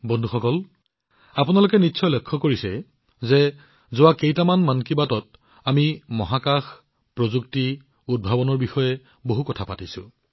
বন্ধুসকল আপোনালোকে নিশ্চয় লক্ষ্য কৰিছে যে মন কী বাতৰ অন্তিম কেইটামান খণ্ডত আমি মহাকাশ প্ৰযুক্তি উদ্ভাৱনৰ ওপৰত যথেষ্ট আলোচনা কৰিছিলো